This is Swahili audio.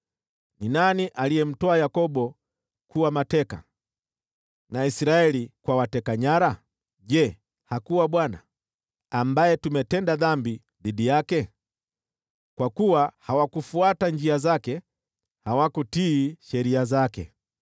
Ni nani aliyemtoa Yakobo kuwa mateka, na Israeli kwa wateka nyara? Je, hakuwa yeye, Bwana , ambaye tumetenda dhambi dhidi yake? Kwa kuwa hawakufuata njia zake, hawakutii sheria zake.